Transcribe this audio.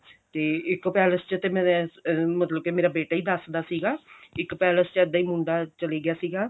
ਇੱਕ palace ਚ ਤੇ ਮੇਰਾ ਮਤਲਬ ਕਿ ਮੇਰਾ ਬੇਟਾ ਹੀ ਦੱਸਦਾ ਸੀਗਾ ਇੱਕ palace ਚ ਇੱਦਾਂ ਹੀ ਇੱਕ ਮੁੰਡਾ ਚਲੇ ਗਿਆ ਸੀਗਾ